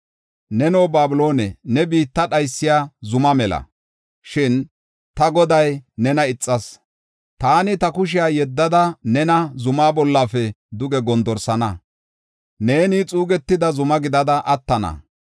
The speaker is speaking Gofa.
“Neno, Babiloone, ne biitta dhaysiya zuma mela; shin ta Goday nena ixas. Taani ta kushiya yeddada, nena zumaa bollafe duge gondorsana; neeni xuugetida zuma gidada attana.